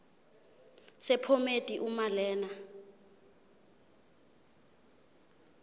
sephomedi uma lena